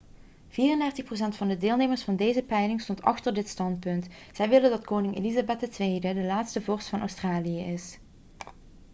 34 procent van de deelnemers van deze peiling stond achter dit standpunt zij willen dat koningin elizabeth ii de laatste vorst van australië is